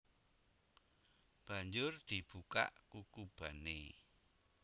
Banjur dibukak kukubané